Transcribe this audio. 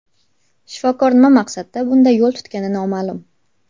Shifokor nima maqsadda bunday yo‘l tutgani noma’lum.